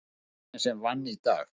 Sá eini sem vann í dag.